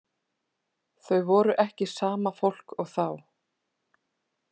Þau voru ekki sama fólk og þá.